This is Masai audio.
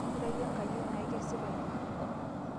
Ira yie enkayioni ai kesipa ina.